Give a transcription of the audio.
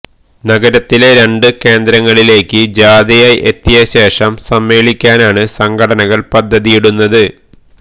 നഗരത്തിലെ രണ്ട് കേന്ദ്രങ്ങളിലേയ്ക്ക് ജാഥയായി എത്തിയ ശേഷം സമ്മേളിക്കാനാണ് സംഘടനകള് പദ്ധതിയിടുന്നത്